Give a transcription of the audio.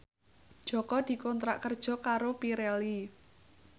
Jaka dikontrak kerja karo Pirelli